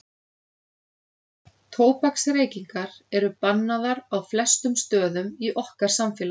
Tóbaksreykingar eru bannaðar á flestum stöðum í okkar samfélagi.